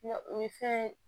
o ye fɛn ye